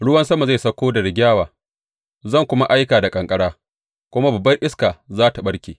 Ruwan sama zai sauko da rigyawa, zan kuma aika da ƙanƙara, kuma babbar iska za tă ɓarke.